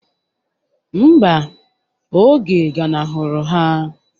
Mba, oge ganahụrụ ha.